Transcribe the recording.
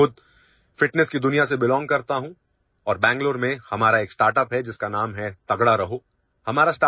میں خود فٹنس کی دنیا سے تعلق رکھتا ہوں اور ہمارا بنگلورو میں ایک اسٹارٹ اپ ہے، جس کا نام 'ٹیگڈا رہو' ہے